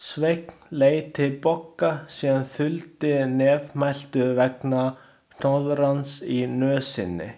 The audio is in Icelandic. Sveinn leit til Bogga sem þuldi nefmæltur vegna hnoðrans í nösinni.